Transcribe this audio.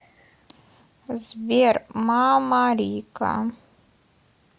сбер мамарика